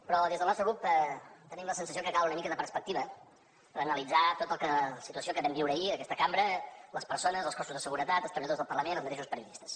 però des del nostre grup tenim la sensació que cal una mica de perspectiva per analitzar tota la situació que vam viure ahir en aquesta cambra les persones els cossos de seguretat els treballadors del parlament i els mateixos periodistes